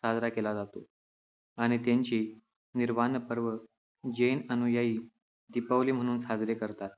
साजरा केला जातो, आणि त्यांचे निर्वाणपर्व जैन अनुयायी दीपावली म्हणून साजरे करतात.